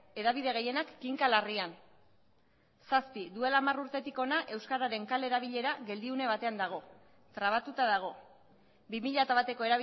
hedabide gehienak kinka larrian zazpi duela hamar urtetik hona euskararen kale erabilera geldiune batean dago trabatuta dago bi mila bateko